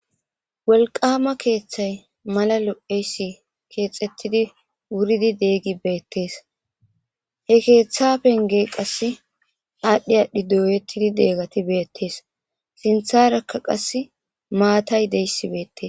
wolqama keeththay mala lo'eysi keexettidi wuridi deggi beettees he keeththa penge qasse aadhdhi aadhdhi dooyettidi deegati beettees sintharakka qas maatay deyssi beettes.